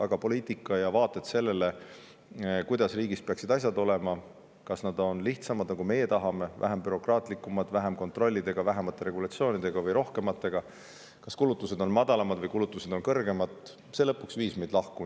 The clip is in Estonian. Aga poliitika ja vaated sellele, kuidas peaksid asjad riigis olema, kas lihtsamad, nagu meie tahame, vähem bürokraatlikumad, vähemate kontrollidega, vähemate regulatsioonidega või rohkematega, kas kulutused peaksid olema madalamad või kõrgemad, viisid meid lõpuks lahku.